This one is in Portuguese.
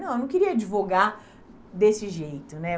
Não, eu não queria divulgar desse jeito, né?